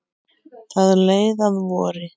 Það leið að vori.